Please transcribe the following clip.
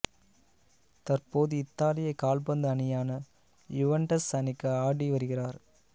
தற்போது இத்தாலிய கால்பந்து அணியான யுவெண்டஸ் அணிக்கு ஆடி வருகிறார்